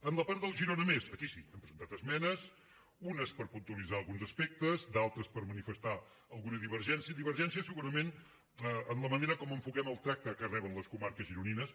en la part del girona més aquí sí hem presentat esmenes unes per puntualitzar alguns aspectes d’altres per manifestar alguna divergència divergència segurament en la manera com enfoquem el tracte que reben les comarques gironines